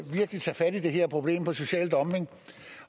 tage fat i det her problem med social dumping